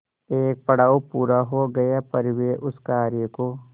एक पड़ाव पूरा हो गया पर वे उस कार्य को